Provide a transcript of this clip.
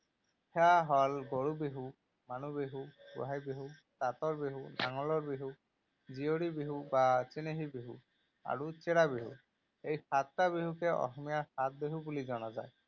সেয়া হল গৰু বিহু, মানুহ বিহু, গোঁসাই বিহু, তাঁতৰ বিহু, নাঙলৰ বিহু, জীয়ৰী বিহু বা চেনেহী বিহু আৰু চেৰা বিহু, এই সাতটা বিহুকে অসমীয়া সাতবিহু বুলি জনা যায়।